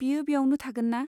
बियो बेयावनो थागोनना?